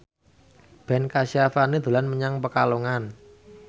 Ben Kasyafani dolan menyang Pekalongan